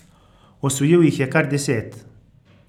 Osvojil jih je kar deset.